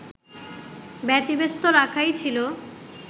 ব্যতিব্যস্ত রাখাই ছিল